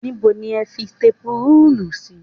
Níbo ni o fi tepurúùlù sí?